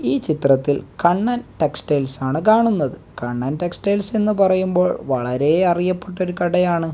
ഈ ചിത്രത്തിൽ കണ്ണൻ ടെക്സ്റ്റൈൽസ് ആണ് കാണുന്നത് കണ്ണൻ ടെക്സ്റ്റൈൽസ് പറയുമ്പോൾ വളരെ അറിയപ്പെട്ട ഒരു കടയാണ്.